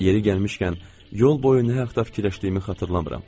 Yeri gəlmişkən, yol boyu nə haqda fikirləşdiyimi xatırlamıram.